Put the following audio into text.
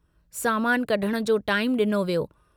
सामानु कढण जो टाईमु डिनो वियो।